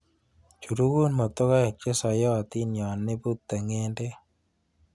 Churugun motokoik chesoiyotin yon ibute ng'endek.